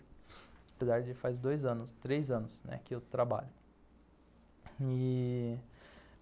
Apesar de faz dois anos, três anos que eu trabalho e